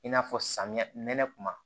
I n'a fɔ samiyɛ nɛnɛ kuma